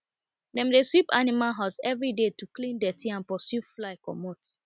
dem dey sweep animal house everyday to clean dirty and pursue fly comot